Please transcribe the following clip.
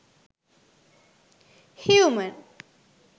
human